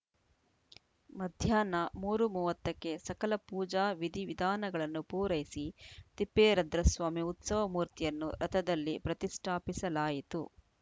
ಮಧ್ಯಾಹ್ನ ಮೂರು ಮೂವತ್ತ ಕ್ಕೆ ಸಕಲ ಪೂಜಾ ವಿಧಿ ವಿಧಾನಗಳನ್ನು ಪೂರೈಸಿ ತಿಪ್ಪೇರದ್ರಸ್ವಾಮಿ ಉತ್ಸವ ಮೂರ್ತಿಯನ್ನು ರಥದಲ್ಲಿ ಪ್ರತಿಷ್ಠಾಪಿಸಲಾಯಿತು